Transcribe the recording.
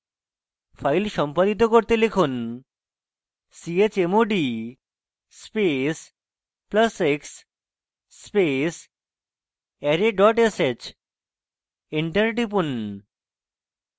file সম্পাদিত করতে লিখুন chmod space plus x space array dot sh enter টিপুন